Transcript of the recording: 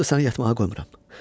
Onsuz da səni yatmağa qoymuram.